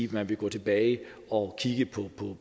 man vil gå tilbage og kigge på